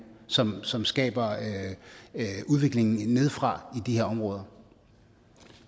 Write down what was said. som som skaber udviklingen nedefra i de her områder